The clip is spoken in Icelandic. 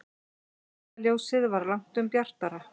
Kertaljósið var langtum bjartara.